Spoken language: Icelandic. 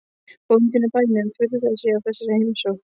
Bóndinn á bænum furðaði sig á þessari heimsókn.